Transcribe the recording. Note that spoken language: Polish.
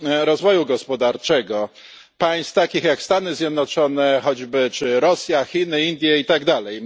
rozwoju gospodarczego, państw takich jak Stany Zjednoczone choćby czy Rosja, Chiny, Indie i tak dalej.